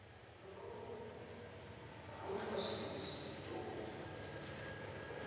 kusho sis dolly